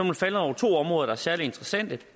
man falde over to områder der er særlig interessante